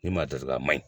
Ni maa datugula ma ɲin